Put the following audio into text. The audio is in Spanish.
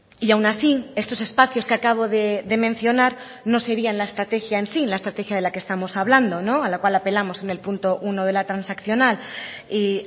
y aun así estos espacios que acabo de mencionar no serían la estrategia en sí la estrategia de la que estamos hablando a la cual apelamos en el punto uno de la transaccional y